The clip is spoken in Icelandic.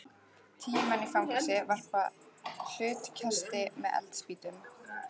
Tíu menn í fangelsi varpa hlutkesti með eldspýtum.